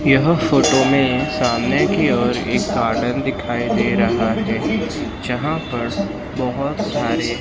यह फोटो में सामने की ओर एक गार्डन दिखाई दे रहा है जहां पर बहोत सारे--